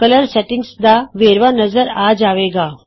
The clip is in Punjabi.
ਕਲਰ ਸੈਟਿੰਗਜ਼ ਦਾ ਵੇਰਵਾ ਨਜ਼ਰ ਆ ਜਾਵੇ ਗਾ